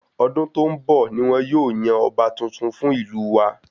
Ọdún tó n bọ ní wọn yóò yan ọba tuntun fún ìlú wa